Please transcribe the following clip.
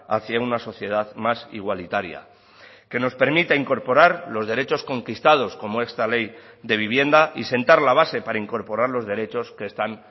hacia una sociedad más igualitaria que nos permita incorporar los derechos conquistados como esta ley de vivienda y sentar la base para incorporar los derechos que están